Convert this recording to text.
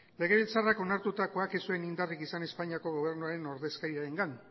legebiltzarrak onartutakoak ez zuen indarrik izan espainiako gobernuko ordezkariarengan